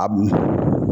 A bu